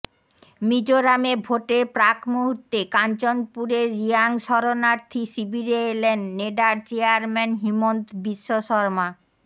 মিজোরামে ভোটের প্রাকমূহুর্তে কাঞ্চনপুরের রিয়াং শরণার্থী শিবিরে এলেন নেডার চেয়ারম্যান হিমন্ত বিশ্বশর্মা